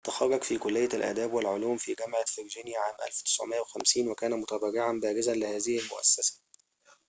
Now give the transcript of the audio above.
تخرّج في كلية الآداب والعلوم في جامعة فرجينيا عام 1950 وكان متبرعًا بارزًا لهذه المؤسسة